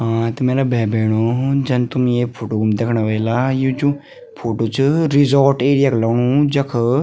हाँ त मेरा भाई-भेणाे जन तुम ये फोटो मा देखणा वेला यु जू फोटो च रिसोर्ट एरिया क लगणु जख --